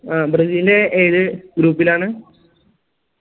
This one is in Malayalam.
ആ ബ്രസീല് ഏത് group ലാണ്